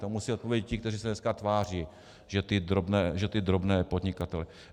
To musí odpovědět ti, kteří se dneska tváří, že ty drobné podnikatele....